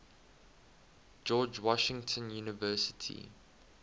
george washington university